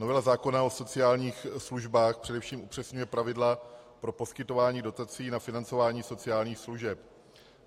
Novela zákona o sociálních službách především upřesňuje pravidla pro poskytování dotací na financování sociálních služeb.